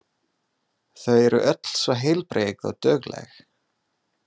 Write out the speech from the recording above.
Þau eru öll svo heilbrigð og dugleg.